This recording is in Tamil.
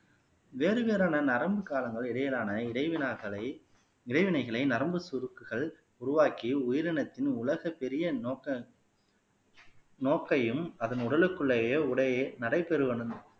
வேறு வேறான நரம்பு காலங்கள் இடையிலான இடை வினாக்களை இடைவெளிகளை நரம்பு சுருக்குகள் உருவாக்கி உயிரினத்தின் உலக பெரிய நோக்க நோக்கையும் அதன் உடலுக்குள்ளேயே உடையை நடை பெறுவன